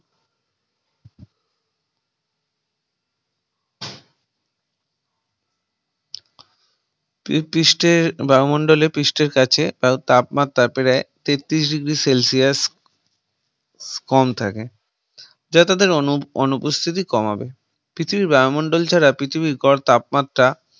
পৃষ্ঠ-এ বায়ুমন্ডলের পৃষ্ঠের কাছে তার তাপমাত্রা প্রায় তেত্রিশ degree celsius কম থাকে যাতে তাদের অনুপস্থিতি কমাবে পৃথিবীর বায়ুমণ্ডল ছাড়া পৃথিবী এর গড় তাপমাত্রা